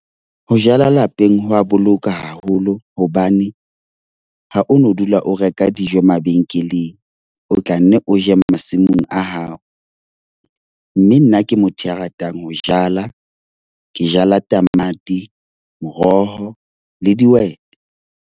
Ho jala lapeng ho wa boloka haholo hobane ha o no dula o reka dijo mabenkeleng. O tla nne o je masimong a hao. Mme nna ke motho ya ratang ho jala, ke jala tamati, moroho le dihwete.